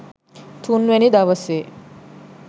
තුන්වෙනි දවසේ